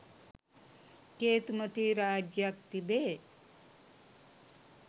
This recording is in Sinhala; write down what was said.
කේතුමතී රාජ්‍යයක් තිබේ.